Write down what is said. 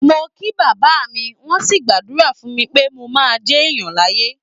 Mo kí bàbá mi, wọ́n sì gbàdúrà fún mi pé mo máa jéèyàn láyé.